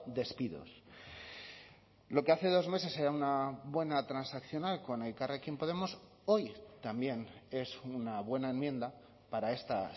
despidos lo que hace dos meses era una buena transaccional con elkarrekin podemos hoy también es una buena enmienda para esta